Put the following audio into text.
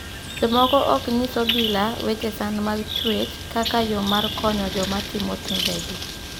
Jomoko ok nyis obila weche sand mag chuech kaka yoo mar konyo joma timo timbegi.